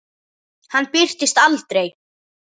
Hann birtist aldrei.